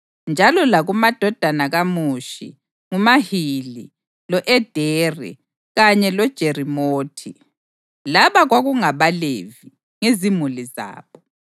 Njalo lakumadodana kaMushi: nguMahili, lo-Ederi kanye loJerimothi. Laba kwakungabaLevi, ngezimuli zabo.